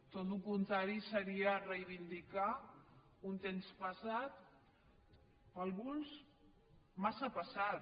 tot el contrari seria reivindicar un temps passat per alguns massa passat